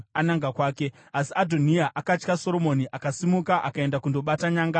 Asi Adhoniya akatya Soromoni, akasimuka akaenda kundobata nyanga dzearitari.